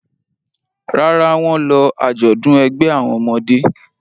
Rárá, wọ́n lọ àjọ̀dún ẹgbẹ́ àwọn ọmọdé.